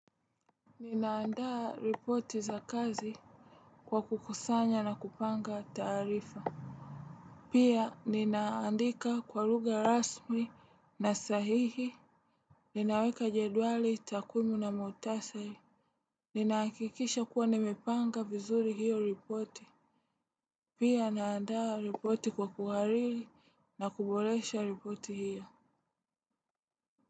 Nina andaa ripoti za kazi kwa kukusanya na kupanga taarifa. Pia nina andika kwa lugha rasmi na sahihi ninaweka jedwali takwimu na mukhtasari. Nina hakikisha kuwa nimepanga vizuri hiyo ripoti. Pia naanda ripoti kwa kuhariri na kuboresha ripoti hiyo.